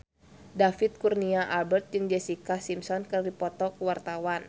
David Kurnia Albert jeung Jessica Simpson keur dipoto ku wartawan